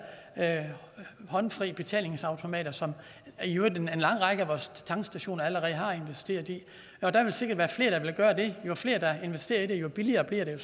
håndfri betalingsautomater som i øvrigt en lang række af vores tankstationer allerede har investeret i der vil sikkert være flere der vil gøre det jo flere der investerer i det jo billigere bliver